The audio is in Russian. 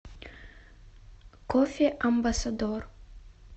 кофе амбассадор